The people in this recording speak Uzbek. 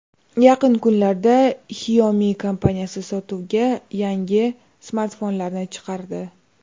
Yaqin kunlarda Xiaomi kompaniyasi sotuvga yangi smartfonlarni chiqardi.